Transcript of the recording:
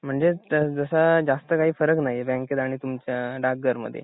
म्हणजे तस जास्त काही फरक नाही बँकेत आणि तुमच्या डाक घरामध्ये